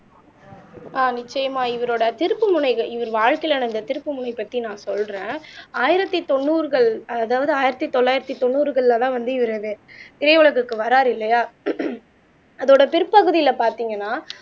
ஆஹ் நிச்சயமா இவரோட திருப்புமுனைகள் இவர் வாழ்க்கையில நடந்த திருப்புமுனை பற்றி நான் சொல்றேன் ஆயிரத்தி தொண்ணூறுகள் அதாவது ஆயிரத்தி தொள்ளாயிரத்தி தொண்ணூறுகள்லதான் வந்து இவரு திரை உலகுக்கு வர்றாரு இல்லையா அதோட பிற்பகுதியில பார்த்தீங்கன்னா